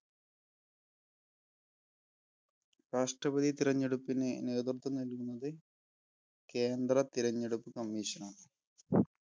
രാഷ്ട്രപതി തിരഞ്ഞെടുപ്പിന് നേതൃത്വം നൽകുന്നത് കേന്ദ്ര തിരഞ്ഞെടുപ്പ് commission ആണ്